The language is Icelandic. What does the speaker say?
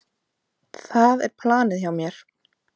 Það er planið hjá mér.